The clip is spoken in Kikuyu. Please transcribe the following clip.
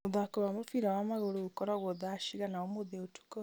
mũthako wa mũbira wa magũrũ ũgũkorwo thaa cigana ũmũthĩ ũtukũ